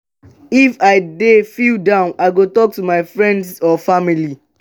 if i dey feel down i go talk to my friends or family.